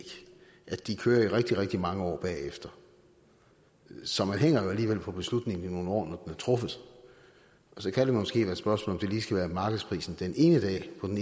at de kører i rigtig rigtig mange år bagefter så man hænger jo alligevel på beslutningen i nogle år er truffet og så kan det måske være et spørgsmål om det lige skal være markedsprisen den ene dag på den